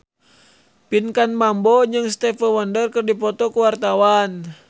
Pinkan Mambo jeung Stevie Wonder keur dipoto ku wartawan